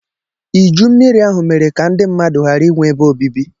Iju Mmiri ahụ mere ka ndị mmadụ ghara inwe ebe obibi.